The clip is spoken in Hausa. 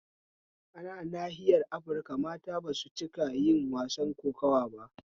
Ana nahiyar afirika mata basu ciika yin wasan kokuwa ba